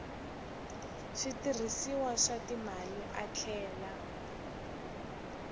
switirhisiwa swa timali a tlhela